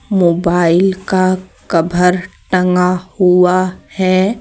Mobile का cover टंगा हुआ है।